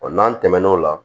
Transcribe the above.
n'an tɛmɛn'o la